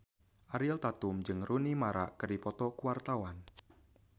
Ariel Tatum jeung Rooney Mara keur dipoto ku wartawan